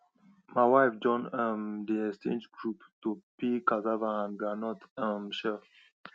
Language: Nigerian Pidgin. my wife join um the exchange group to peel cassava and and groundnut um shell